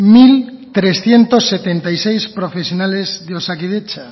mil trescientos setenta y seis profesionales de osakidetza